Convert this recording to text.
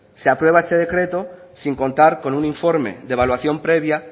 se aprueba este decreto sin contar con un informe de evaluación previa